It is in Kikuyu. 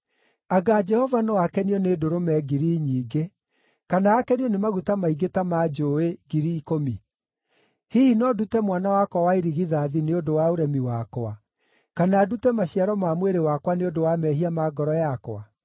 Anga Jehova no akenio nĩ ndũrũme ngiri nyingĩ, kana akenio nĩ maguta maingĩ ta ma njũũĩ ngiri ikũmi? Hihi no ndute mwana wakwa wa irigithathi nĩ ũndũ wa ũremi wakwa, kana ndute maciaro ma mwĩrĩ wakwa nĩ ũndũ wa mehia ma ngoro yakwa?